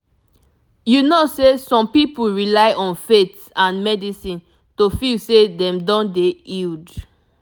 you know sehsome people rely on faith and medicine to feel seh them don dey healed